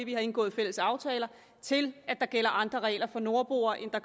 vi har indgået fælles aftaler at der gælder andre regler for nordboere